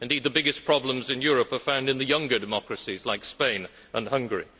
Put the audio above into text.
Indeed, the biggest problems in Europe are found in the younger democracies, like Spain and Hungary.